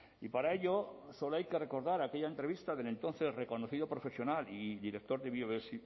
y para ello solo hay que recordar aquella entrevista del entonces reconocido profesional y director de